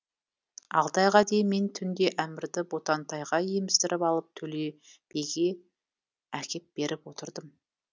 алты айға дейін мен түнде әмірді ботантайға еміздіріп алып төлебиге әкеп беріп отырдым